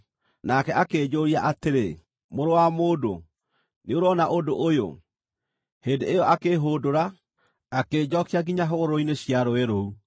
Nake akĩnjũũria atĩrĩ, “Mũrũ wa mũndũ, nĩũrona ũndũ ũyũ?” Hĩndĩ ĩyo akĩĩhũndũra, akĩnjookia nginya hũgũrũrũ-inĩ cia rũũĩ rũu.